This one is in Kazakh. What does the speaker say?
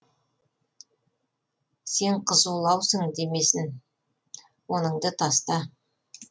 сен қызулаусың демесін оныңды таста